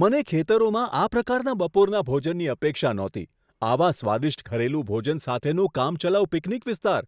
મને ખેતરોમાં આ પ્રકારના બપોરના ભોજનની અપેક્ષા નહોતી આવા સ્વાદિષ્ટ ઘરેલું ભોજન સાથેનું કામચલાઉ પિકનિક વિસ્તાર!